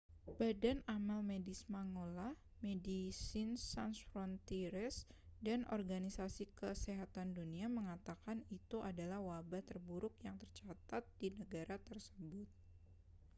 badan amal medis mangola medecins sans frontieres dan organisasi kesehatan dunia mengatakan itu adalah wabah terburuk yang tercatat di negara tersebut